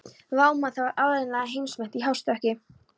Vá, maður, það var áreiðanlega heimsmet í hástökki.